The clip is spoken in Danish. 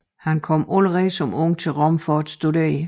Han kom allerede som ung til Rom for at studere